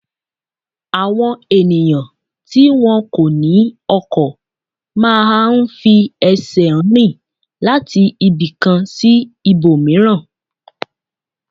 Àwọn ènìyàn tí wọn kò ní ọkọ̀ má a ń fi ẹsẹ̀ rìn láti ibì kan sí ibòmíràn